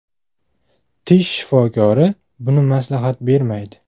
Tish shifokori buni maslahat bermaydi.